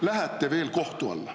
… lähete veel kohtu alla.